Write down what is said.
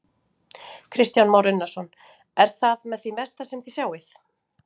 Kristján Már Unnarsson: Er það með því mesta sem þið sjáið?